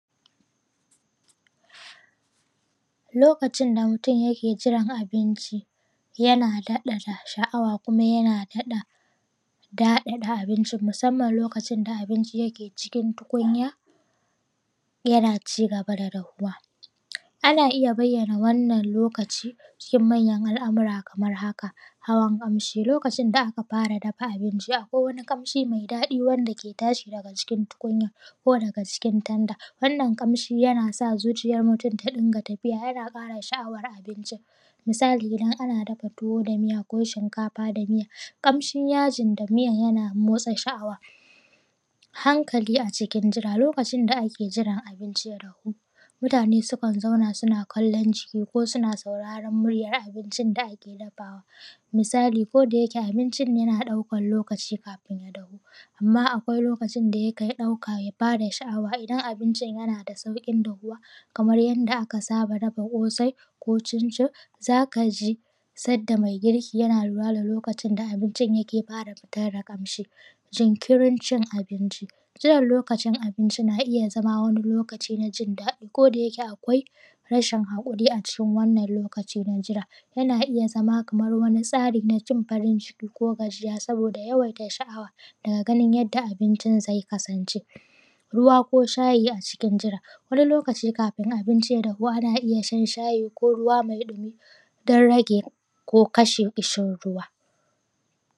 Lokacin da mutum yake jiran abinci yana daɗa sha’awa kuma yana daɗa daɗa abincin musamman lokacin da abincin yake cikin tukunya yana ci gaba da dafuwa, ana iya bayyana wannan lokacin cikin manyan alamura kamar haka, hawan kamshi lokacin da aka fara dafa abincin akwai wani kamshi mai daɗi wanda yake tashi daga cikin tukunyar ko daga cikin tanda, wannan kamshin yana sa zuciyar mutum ta ɗinga tafiya yana kara sha’awar abinci, misali idan ana dafa tuwo da miya ko shinkafa da miya kamshin yajin da miya yana motsa sha’awa, hankali a cikin jira lokacin da ake jiran abinci ya dafu, mutane sukan zauna suna kallon ciki ko suna sauraron muryar abincin da ake dafawa, misali, ko da yake abincin yana ɗaukan lokaci kafin ya dafu amma akwai lokacin da yake ɗauka ya ba da sha’awa idan abincin yana da saukin dafuwa kamar yadda aka saba dafa kosai ko cin-cin zaka ji sanda mai girki yana lura da lokacin da abincin yake fara fitar da kamshi, jinkirin cin abinci, jiran lokacin na iya zama wani lokaci na jin daɗi ko da yake akwai rashin hakuri a cikin wannan lokaci na jira yana iya zama kamar wani tsari na jin farin ciki ko gajiya saboda yawaita sha’awa daga ganin yadda abincin zai kasance, ruwa ko shayi a cikin jira wani lokaci kafin abinci ya dafu ana iya shan shayi ko ruwa mai ɗumi don rage ko kasha kishin ruwa.